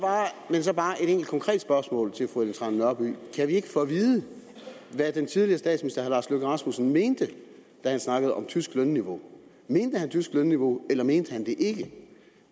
så bare et enkelt konkret spørgsmål til fru ellen trane nørby kan vi ikke få at vide hvad den tidligere statsminister herre lars løkke rasmussen mente da han snakkede om tysk lønniveau mente han tysk lønniveau eller mente han det ikke